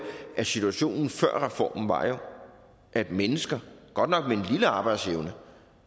at situationen før reformen var at mennesker godt nok med en lille arbejdsevne